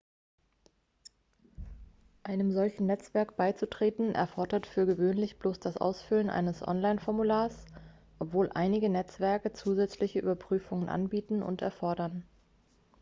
einem solchen netzwerk beizutreten erfordert für gewöhnlich bloß das ausfüllen eines online-formulars obwohl einige netzwerke zusätzliche überprüfungen anbieten oder erfordern